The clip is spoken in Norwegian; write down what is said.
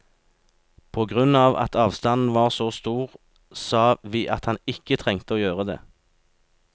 På grunn av at avstanden var så stor, sa vi at han ikke trengte å gjøre det.